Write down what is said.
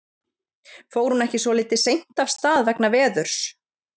Fór hún ekki svolítið seint af stað vegna veðurs?